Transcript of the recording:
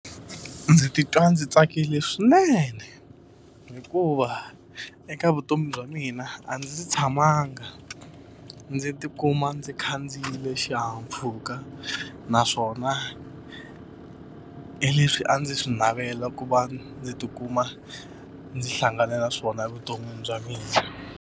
Ndzi titwa ndzi tsakile swinene hikuva eka vutomi bya mina a ndzi tshamanga ndzi tikuma ndzi khandziyile xi xihahampfhuka naswona hi leswi a ndzi swi navela ku va ndzi tikuma ndzi hlangane na swona evuton'wini bya mina.